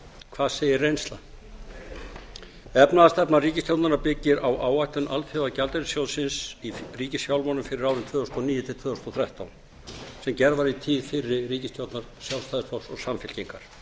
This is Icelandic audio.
hvað segir reynslan efnahagsstefna ríkisstjórnarinnar byggir á áætlun alþjóðagjaldeyrissjóðsins í ríkisfjármálum fyrir árin tvö þúsund og níu til tvö þúsund og þrettán sem gerð var í tíð fyrri ríkisstjórnar sjálfstæðisflokks og samfylkingar